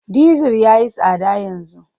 Dizir ya yi tsada yanzu.